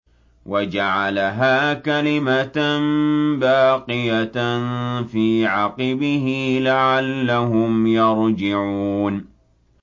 وَجَعَلَهَا كَلِمَةً بَاقِيَةً فِي عَقِبِهِ لَعَلَّهُمْ يَرْجِعُونَ